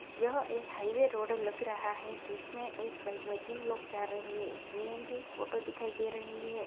यहा एक highway road लग रहा है जिसमे एक बाइक मे तीन लोग जा रहे है सी.एन.जी ऑटो दिखाए दे रही है।